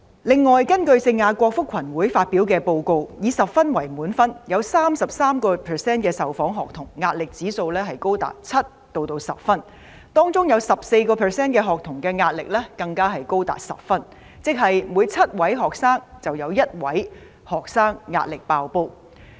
另外，根據聖雅各福群會發表的報告，以10分為滿分，有 33% 的受訪學童的壓力指數高達7至10分，當中有 14% 的學童壓力更高達10分，即是每7名學生中，便有1名學生壓力"爆煲"。